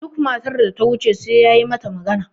duk matar da ta wuce sai ya yi mata magana